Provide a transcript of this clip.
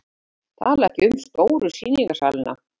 Tala ekki um stóru sýningarsalina.